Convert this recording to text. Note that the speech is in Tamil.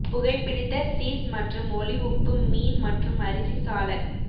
புகைபிடித்த சீஸ் மற்றும் ஒளி உப்பு மீன் மற்றும் அரிசி சாலட்